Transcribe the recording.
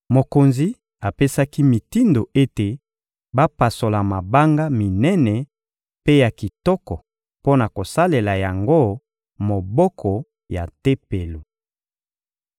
Mokonzi apesaki mitindo ete bapasola mabanga minene mpe ya kitoko mpo na kosalela yango moboko ya Tempelo.